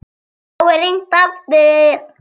En þá er hringt aftur.